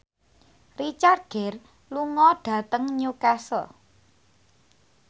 Richard Gere lunga dhateng Newcastle